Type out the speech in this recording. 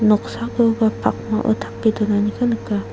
noksakoba pakmao tape donaniko nika.